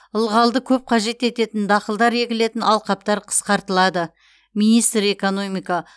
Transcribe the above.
ылғалды көп қажет ететін дақылдар егілетін алқаптар қысқартылады министр экономика